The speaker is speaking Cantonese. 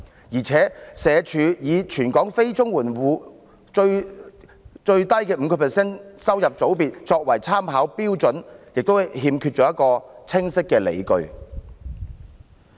而且，社署以全港非綜援住戶最低 5% 收入組別作為參考標準的做法亦欠缺清晰的理據。